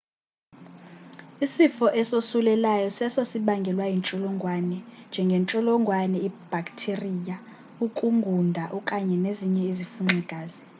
isifo esosulelayo seso sibangelwa yintsholongwane njengentsholongwane ibhaktiriya ukungunda okanye ezinye izifunxi-gazi